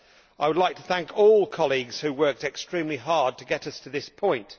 I would like to thank all colleagues who worked extremely hard to get us to this point.